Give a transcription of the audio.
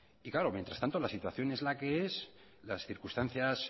y claro mientras tanto la situación es la que es las circunstancias